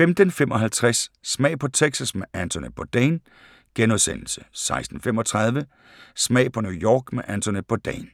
15:55: Smag på Texas med Anthony Bourdain * 16:35: Smag på New York med Anthony Bourdain